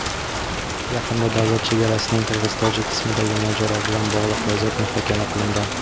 yaqinda davlat chegarasining qirg‘iz-tojik qismidagi mojaro bilan bog‘liq vaziyat muhokama qilingan.